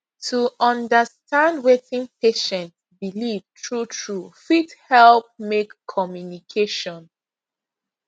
to understand wetin patient believe truetrue fit help make communication